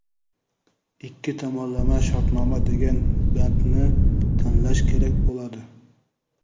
ikki tomonlama shartnoma degan bandni tanlash kerak bo‘ladi.